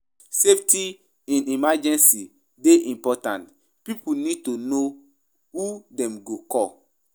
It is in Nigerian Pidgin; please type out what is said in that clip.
Safety in emergencies dey important; pipo need to know who dem go call.